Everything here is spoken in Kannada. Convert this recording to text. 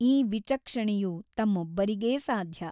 ಈ ವಿಚಕ್ಷಣೆಯು ತಮ್ಮೊಬ್ಬರಿಗೇ ಸಾಧ್ಯ !